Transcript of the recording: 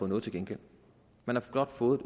noget til gengæld man har blot fået